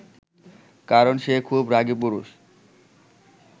কারণ সে খুব রাগী পুরুষ